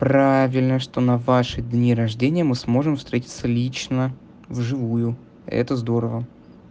правильно что на ваши дни рождения мы сможем встретиться лично в живую это здорово